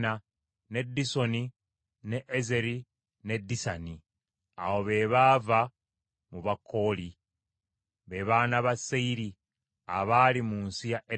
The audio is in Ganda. ne Disoni, ne Ezeri ne Disani. Abo be baava mu Bakooli, be baana ba Seyiri abaali mu nsi ya Edomu.